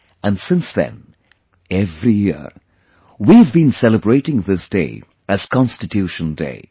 And since then, every year, we have been celebrating this day as Constitution Day